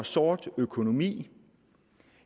sort økonomi